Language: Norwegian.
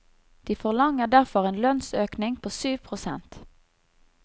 De forlanger derfor en lønnsøkning på syv prosent.